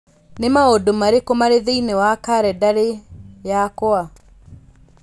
Nĩ maũndũ marĩkũ marĩ thĩinĩ wa kalendarĩ yakwa?